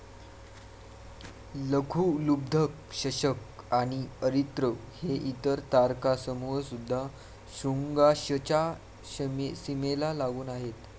लघुलुब्धक, शशक आणि अरित्र हे इतर तारकासमूह सुद्धा श्रुंगाश्वच्या सीमेला लागून आहेत.